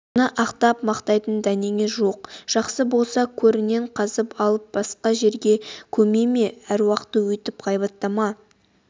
оны ақтап-мақтайтын дәнеңе жоқ жақсы болса көрінен қазып алып басқа жерге көме ме аруақты өйтіп ғайбаттама